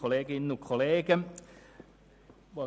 Kommissionssprecher